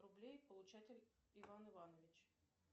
рублей получатель иван иванович